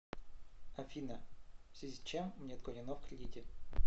афина в связи с чем мне отклонено в кредите